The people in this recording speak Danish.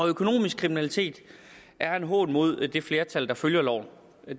økonomisk kriminalitet er en hån mod det flertal der følger loven